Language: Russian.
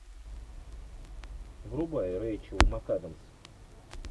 врубай рейчел макадамс